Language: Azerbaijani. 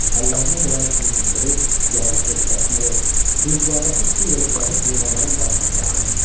Əllərinə gələn cıncıntırı, yaylığı, dəsmalı, tuluqlardakı su ilə isladıb heyvanların başına sarıdılar.